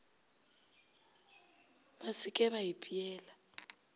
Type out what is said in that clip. ba se ke ba ipeela